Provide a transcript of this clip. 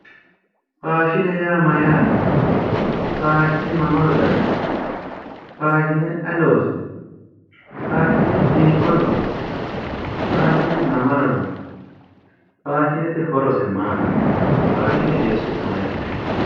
Faashine yaa Mayyaate? faashine mamaro daggino? Faashine ayi loosino? Faashine hiikko lonisooni ? Faashine mamaro loonisi? Faashinete ayi loosib? Faashinete horose maati?